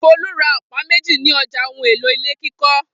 Folú ra ọ̀pá méjì ní ọjà ohun-èlò ilé kíkọ́.